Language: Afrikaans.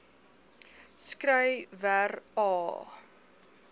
skry wer aa